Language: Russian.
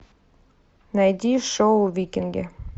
найди шоу викинги